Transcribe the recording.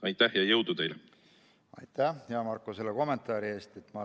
Aitäh, hea Marko, selle kommentaari eest!